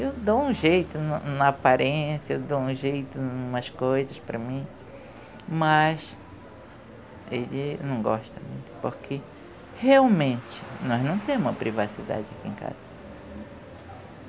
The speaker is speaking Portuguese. Eu dou um jeito no na aparência, eu dou um jeito em umas coisas para mim, mas ele não gosta muito, porque realmente nós não temos uma privacidade aqui em casa.